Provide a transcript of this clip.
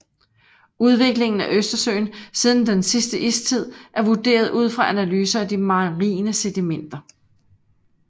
Udviklingen af Østersøen siden sidste istid er vurderet ud fra analyser af de marine sedimenter